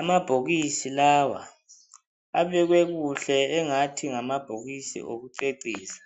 Amabhokisi lawa abekwe kuhle engathi ngamabhokisi okucecisa ,